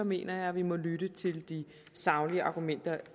mener jeg at vi må lytte til de saglige argumenter